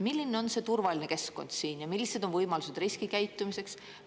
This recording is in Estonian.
Milline on see turvaline keskkond siin ja millised on võimalused riskikäitumiseks?